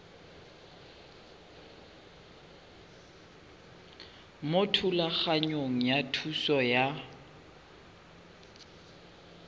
mo thulaganyong ya thuso y